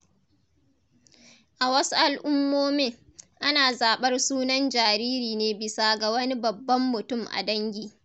A wasu al’ummomin, ana zaɓar sunan jariri ne bisa ga wani babban mutum a dangi.